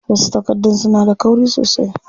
Wasu takardun suna da kauri sosai.